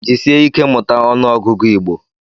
Jisike ike mụta ọnụ ọgụgụ Igbo.